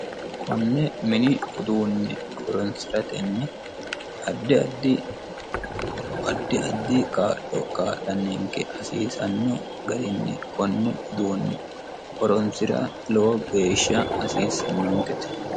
konne mini uduunne horonsiratenni, addi addi kaa'lo kaa'lanninke hasiisanno garinni konne uduunne horonsira lowo geeshsha hasiissannonkete